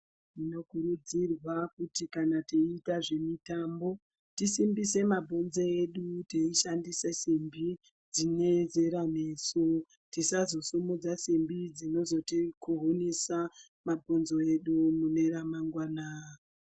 Tino kurudzirwa kuti kana teita zve mitambo tisimbise mabhonzo edu tei shandisa simbi dzine zera nesu tisazo simudza simbi dzinozoti ku hunisa mabhonzo edu mune ra mangwana.